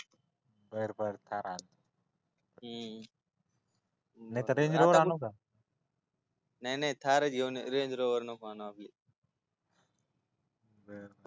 बर बर थार आणतो हू नाहीतर रेंजरोवर आणू का नाही नाही थार घेऊन ये रेंजरोवर नको आणू आपली हूं